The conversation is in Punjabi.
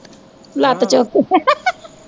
ਲੱਤ ਚੁੱਕ ਕੇ